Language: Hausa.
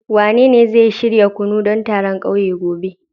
Wanene zai shirya kunu don taron kauye gobe